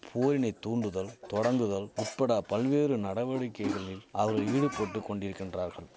போரினை தூண்டுதல் தொடங்குதல் உட்பட பல்வேறு நடவடிக்கைகளில் அவர் ஈடுபட்டு கொண்டிரிக்கின்றார்கள்